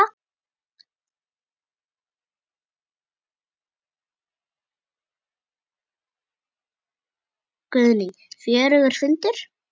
Guðný: Fjörugur fundur?